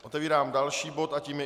Otevírám další bod a tím je